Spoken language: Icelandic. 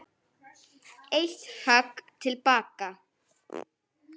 Eitt högg til baka.